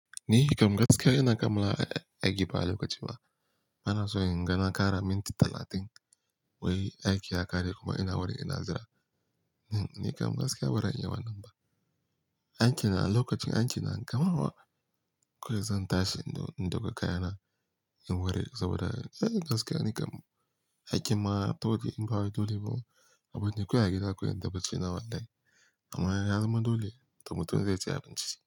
Ni kam gaskiya ina kammala aiki fa lokaci ba. Bana so in gana kara minti talatin wai aiki ya kare kuma ina wari ina zira. Ni kam gaskiya bazan iya wannan ba. Aiki na a lokacin aiki na kammawa. Ko zan tashi in doga kayana in ware saboda gaskiya nikam aikin ma ta'uɗi in bawa dole ba oo a barni a gida kawai in ta baccina wallahi amma ya zama dole, to mutun zai saya abanci.